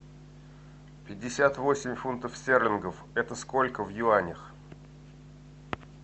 пятьдесят восемь фунтов стерлингов это сколько в юанях